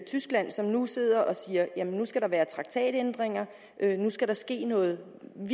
tyskland som nu sidder og siger at nu skal der være traktatændringer at nu skal der ske noget